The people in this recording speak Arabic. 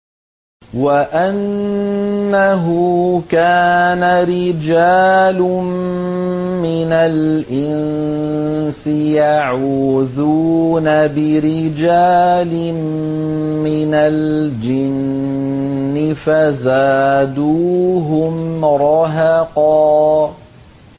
وَأَنَّهُ كَانَ رِجَالٌ مِّنَ الْإِنسِ يَعُوذُونَ بِرِجَالٍ مِّنَ الْجِنِّ فَزَادُوهُمْ رَهَقًا